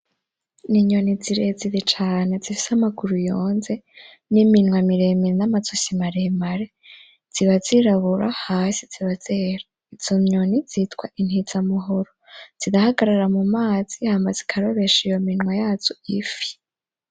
N'inyoni zirezire cane zifise amaguru yonze n'iminwa miremire n'amazosi maremare, ziba zirabura hasi ziba zera, izo nyoni zitwa intizamuhoro, zirahagarara mumazi hama zikarobesha iyo minwa yazo ifi.